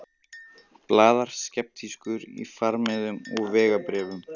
Blaðar skeptískur í farmiðum og vegabréfum.